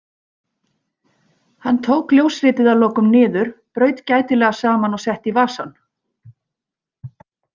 Hann tók ljósritið að lokum niður, braut gætilega saman og setti í vasann.